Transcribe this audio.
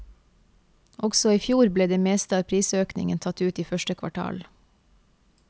Også i fjor ble det meste av prisøkningen tatt ut i første kvartal.